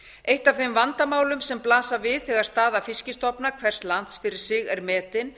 eitt af þeim vandamálum sem blasa við þegar staða fiskstofna hvers lands fyrir sig er metin